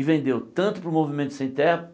E vendeu tanto para o Movimento Sem Terra